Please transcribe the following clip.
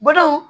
Bolow